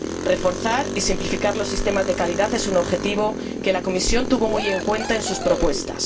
Reforzar y simplificar los sistemas de calidad es un objetivo que la Comisión tuvo muy en cuenta en sus propuestas.